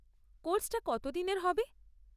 কোর্সটা কতদিনের হবে?